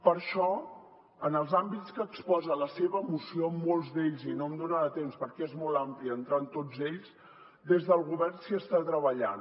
per això en els àmbits que exposa la seva moció en molts d’ells i no em donarà temps perquè és molt ampli entrar en tots ells des del govern s’hi està treballant